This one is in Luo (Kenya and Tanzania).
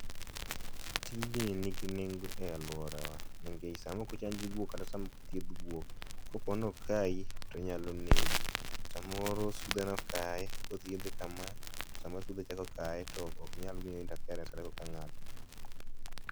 tijni ni gi nengo e aluorawa nikech nikech sama ok chanj guok kata ok thieth guok kapono kayi to onyalo negi ,samoro sudhe nokaye ,kodhiedhe kama to samoro sudhe chako kaye to ok nyal miye inteference ka oka ng'ato.